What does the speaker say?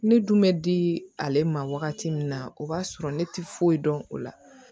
Ne dun bɛ di ale ma wagati min na o b'a sɔrɔ ne tɛ foyi dɔn o la